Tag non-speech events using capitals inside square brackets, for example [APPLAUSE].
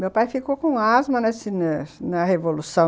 Meu pai ficou com asma [UNINTELLIGIBLE] na revolução...